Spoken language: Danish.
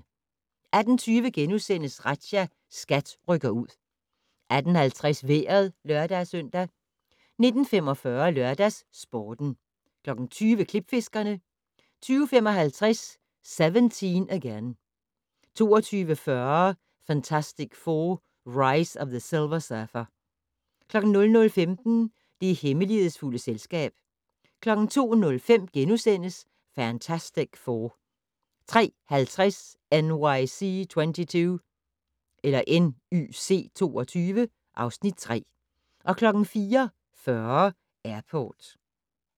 18:20: Razzia - SKAT rykker ud * 18:50: Vejret (lør-søn) 19:45: LørdagsSporten 20:00: Klipfiskerne 20:55: 17 Again 22:40: Fantastic Four: Rise of the Silver Surfer 00:15: Det hemmelighedsfulde selskab 02:05: Fantastic Four * 03:50: NYC 22 (Afs. 3) 04:40: Airport